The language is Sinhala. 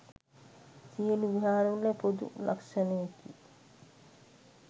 සියලු විහාරවල පොදු ලක්ෂණයකි.